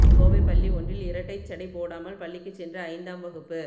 கோவை பள்ளி ஒன்றில் இரட்டைச் சடை போடாமல் பள்ளிக்குச் சென்ற ஐந்தாம் வகுப்பு